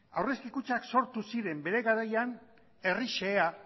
aurrezki kutxak sortu ziren bere garaian herri xehea